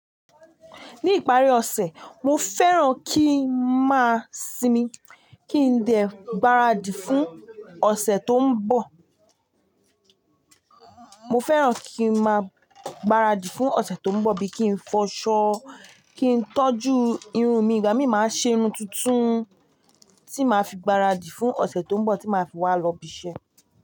Ní ìparí ọ̀sẹ̀, mo fẹ́ràn kí ń máa sinmi, kí n dẹ gbaradì fún ọ̀sẹ̀ tó ń bọ̀. Mo fẹ́ràn kí ń máa gbaradì fún ọ̀sẹ̀ tó ń bọ̀ bí i kí ń fọṣọ, kí ń tọ́jú irun mi, ìgbà mí máa ṣe irun tuntun tí màá fi gbaradì fún ọ̀sẹ̀ tó ń bọ̀ tí màá fi wá lọ ibi iṣẹ́.